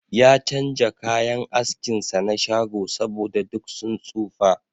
Ya chanja kayan askin sa na shago, saboda duk sun tsofa.